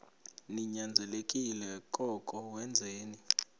ninyanzelekile koko wenzeni